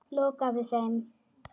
Lokaði þeim.